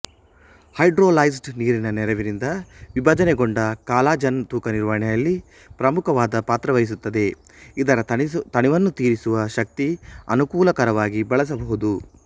hydrolysed ನೀರಿನ ನೆರವಿನಿಂದ ವಿಭಜನೆಗೊಂಡ ಕಾಲಜನ್ ತೂಕ ನಿರ್ವಹಣೆಯಲ್ಲಿ ಪ್ರಮುಖವಾದ ಪಾತ್ರವಹಿಸುತ್ತದೆ ಇದರ ತಣಿವನ್ನು ತೀರಿಸುವ ಶಕ್ತಿ ಅನುಕೂಲಕರವಾಗಿ ಬಳಸಬಹುದು